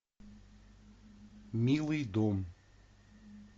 милый дом